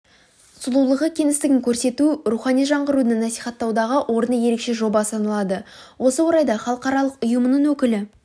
сұлулығы кеңістігін көрсету рухани жаңғыруды насихаттаудағы орны ерекше жоба саналады осы орайда халықаралық ұйымының өкілі